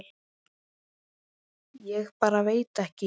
Ég bara veit ekki.